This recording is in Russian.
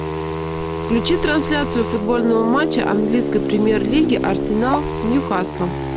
включи трансляцию футбольного матча английской премьер лиги арсенал с ньюкаслом